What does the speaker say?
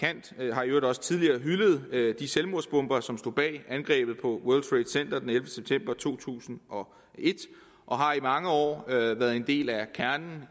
har i øvrigt også tidligere hyldet de selvmordsbombere som stod bag angrebet på world trade center den ellevte september to tusind og et og har i mange år været en del af kernen